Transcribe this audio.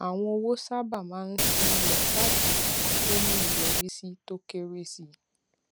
àwọn owó sábà máa ń ṣí lọ láti ibì kan tó ní ìyọrísí tó kéré sí